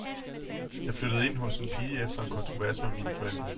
Jeg flyttede ind hos en pige efter en kontrovers med mine forældre.